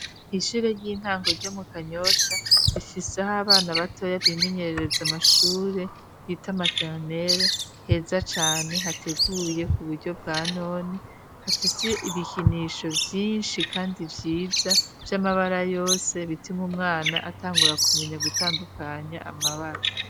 Ishure ry'intango ryo mu Kanyosha, rifise aho abana batoya bimenyerereza amashure, bita materenere, heza cane hateguye ku buryo bwa none, hafise ibikinisho vyinshi kandi vyiza vy'amabara yose, bituma umwana atangura kumenya gutandukanya amabara.